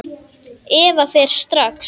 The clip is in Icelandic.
Eva fer strax.